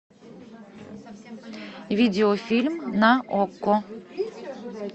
видеофильм на окко